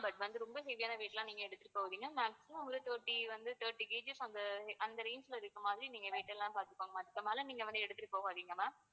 but வந்து ரொம்ப heavy யான weight லாம் நீங்க எடுத்துட்டு போவிங்க maximum ஒரு thirty வந்து thirty KG அந்த அந்த range ல இருக்குற மாதிரி நீங்க weight எல்லாம் பாத்துக்கோங்க, அதுக்குமேல நீங்க வந்து எடுத்திட்டு போகாதீங்க ma'am